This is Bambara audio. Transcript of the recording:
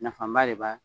Nafaba de b'a la